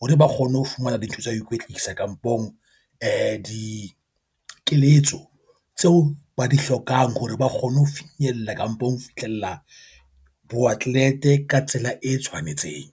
hore ba kgone ho fumana dintho tsa ho ikwetlisa kampong di keletso tseo ba di hlokang hore ba kgone ho finyella kapong ho fihlella boo Atleet ka tsela e tshwanetseng.